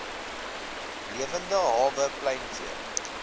lewende hawe pluimvee